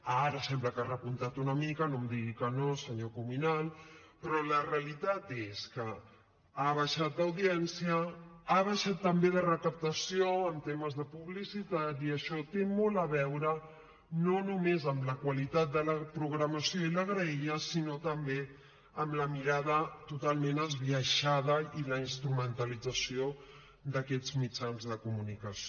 ara sembla que ha repuntat una mica no em digui que no senyor cuminal però la realitat és que ha baixat d’audiència ha baixat també de recaptació en temes de publicitat i això té molt a veure no només amb la qualitat de la programació i la graella sinó també amb la mirada totalment esbiaixada i la instrumentalització d’aquests mitjans de comunicació